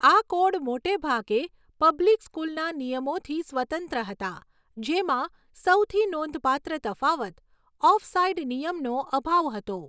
આ કોડ મોટેભાગે પબ્લિક સ્કૂલના નિયમોથી સ્વતંત્ર હતા, જેમાં સૌથી નોંધપાત્ર તફાવત ઓફસાઈડ નિયમનો અભાવ હતો.